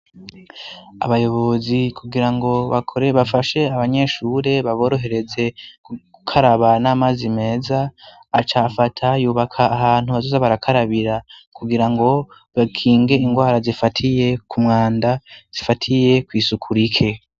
Abayobozi kugirango bakore bafashe abanyeshure baborohereze gukaraba n'amazi meza acafata yubaka ahantu bazoza barakarabira kugirango bakinge ingwara zifatiye ku mwanda zifatiye kwisuku rike.